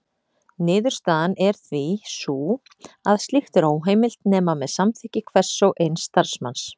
Niðurstaðan er því sú að slíkt er óheimilt nema með samþykki hvers og eins starfsmanns.